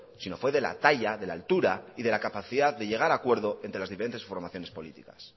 sino fue de la talla de la altura y de la capacidad de llegar a acuerdo entre las diferentes formaciones políticas